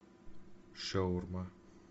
шаурма